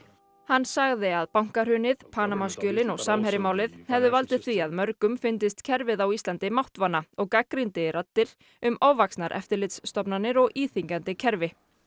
hann sagði að bankahrunið Panama skjölin og Samherjamálið hefðu valdið því að mörgum fyndist kerfið á Íslandi máttvana og gagnrýndi raddir um ofvaxnar eftirlitsstofnanir og íþyngjandi kerfi